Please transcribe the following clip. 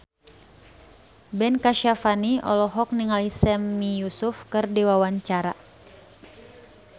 Ben Kasyafani olohok ningali Sami Yusuf keur diwawancara